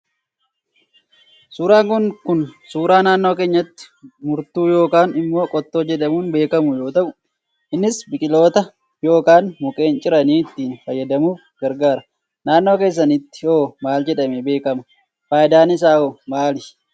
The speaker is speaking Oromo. Suuraan Kun Kun, suuraa naannoo keenyatti murtuu yookaan immoo qottoo jedhamuun beekamu yoo ta'u, innis biqiltoota yookaan mukkeen ciranii ittiin fayyadamuuf gargaara. Naannoo keessanitti hoo maal jedhame beekama? Fayidaan isaa hoo maali?